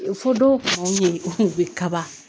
Fo dɔw mago ɲɛ bɛ kaba